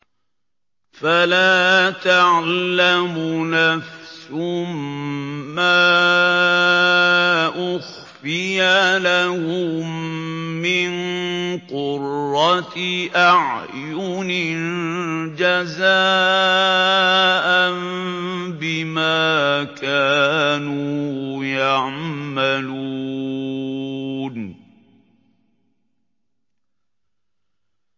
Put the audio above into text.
فَلَا تَعْلَمُ نَفْسٌ مَّا أُخْفِيَ لَهُم مِّن قُرَّةِ أَعْيُنٍ جَزَاءً بِمَا كَانُوا يَعْمَلُونَ